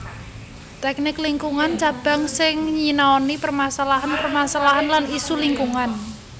Tèknik Lingkungan Cabang sing nyinaoni permasalahan permasalahan lan isu lingkungan